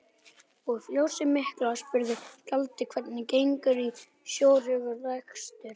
Og fjósið mikla, spurði skáldið, hvernig gengur sá stórhuga rekstur?